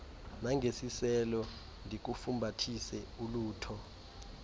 nangesiselo ndikufumbathise ulutho